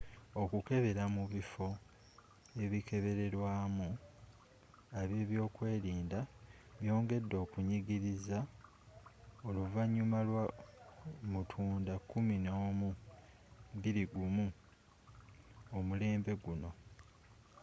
okukebera mu bifo ebikebererwamu abebyokwerinda byongedde okunyingiriza oluvannyuma lwa 11 mutunda 2001 omulembe guno